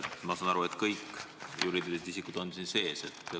Ma saan aru, et kõik juriidilised isikud on siin sees.